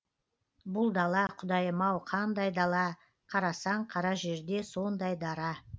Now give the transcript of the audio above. бұл дала құдайым ау қандай дала қарасаң қара жерде сондай дара